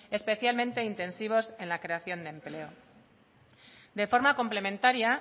especialmente intensivos en la creación de empleo de forma complementaria